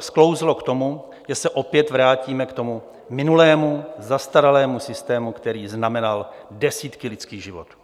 sklouzlo k tomu, že se opět vrátíme k tomu minulému zastaralému systému, který znamenal desítky lidských životů.